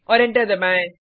और एंटर दबाएँ